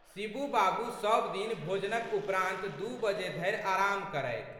शिबू बाबू सब दिन भोजनक उपरान्त दू बजे धरि आराम करथि।